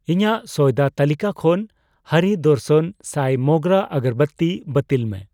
ᱤᱧᱟᱜ ᱥᱚᱭᱫᱟ ᱛᱟᱹᱞᱤᱠᱟ ᱠᱷᱚᱱ ᱦᱟᱨᱤ ᱰᱚᱨᱥᱚᱱ ᱥᱟᱭ ᱢᱳᱜᱨᱟ ᱟᱜᱚᱨᱵᱟᱛᱤ ᱵᱟᱹᱛᱤᱞ ᱢᱮ ᱾